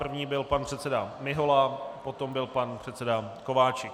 První byl pan předseda Mihola, potom byl pan předseda Kováčik.